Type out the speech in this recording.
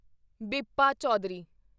Bibha Chaudhuri